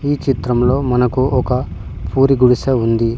ఈ చిత్రంలో మనకు ఒక పూరి గుడిసె ఉంది.